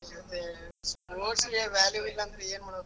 ಹ್ಮ್ sports ಗೆ value ಇಲ್ಲಾ ಅಂದ್ರೆ ಏನ್ ಮಾಡ್ಬೇಕು?